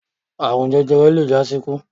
Àrun jẹjẹrẹ le jásíkú.